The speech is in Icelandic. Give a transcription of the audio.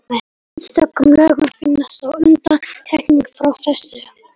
Í einstökum lögum finnast þó undantekningar frá þessu.